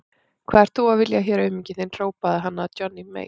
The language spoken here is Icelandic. Hvað ert þú að vilja hér auminginn þinn, hrópaði hann að Johnny Mate.